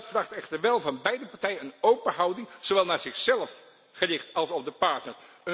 Dat vraagt echter wel van beide partijen een open houding, zowel naar zichzelf gericht als op de partner.